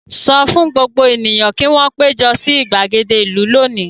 Sọ fún gbogbo ènìyàn kí wọn péjọ sí ìgbàgede ìlú lónìí!